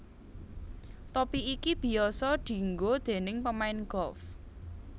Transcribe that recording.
Topi iki biyasa dienggo déning pemain golf